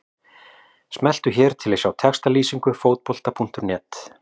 Smelltu hér til að sjá textalýsingu Fótbolta.net.